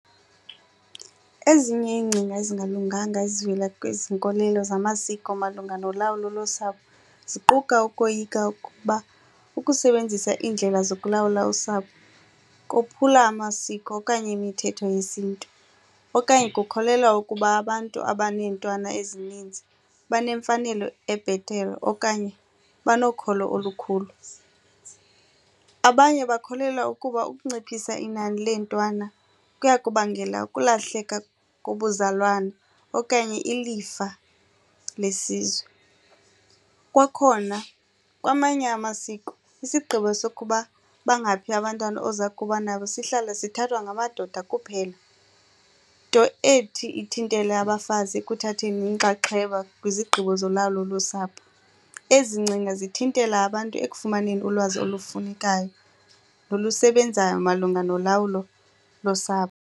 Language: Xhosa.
Ezinye iingcinga ezingalunganga ezivela kwezi nkolelo zamasiko malunga nolawulo losapho ziquka ukoyika ukuba ukusebenzisa iindlela zokulawula usapho kophula amasiko okanye imithetho yesiNtu okanye kukholelwa ukuba abantu abaneentwana ezininzi banemfanelo ebhetele okanye banokholo olukhulu. Abanye bakholelwa ukuba ukunciphisa inani leentwana kuya kubangela ukulahleka kobuzalwane okanye ilifa lesizwe. Kwakhona kwamanye amasiko isigqibo sokuba bangaphi abantwana oza kuba nabo sihlala sithathwa ngamadoda kuphela nto ethi ithintele abafazi ekuthatheni inxaxheba kwizigqibo zolawulo losapho. Ezi ngcinga zithintela abantu ekufumaneni ulwazi olufunekayo nolusebenzayo malunga nolawulo losapho.